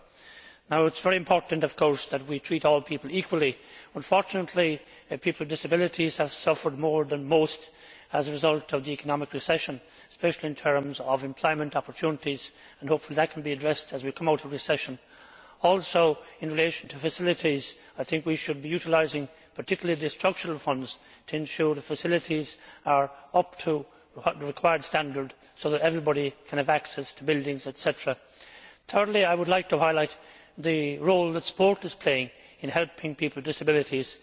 It is of course very important that we treat all people equally. Unfortunately people with disabilities have suffered more than most as a result of the economic recession, especially in terms of employment opportunities. Hopefully that can be addressed as we come out of recession. In relation to facilities, I think we should be utilising particularly the structural funds to ensure that facilities are up to the required standard so that everybody can have access to buildings, etc. Thirdly, I would like to highlight the role that sport is playing in helping people with disabilities,